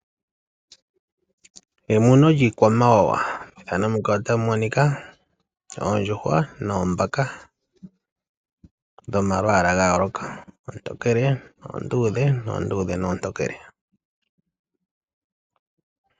Emuno lyiikwamawawa, oondjuhwa noombaka dhomalwala ga yooloka, oontokele, oonduudhe noonduudhe noontokele.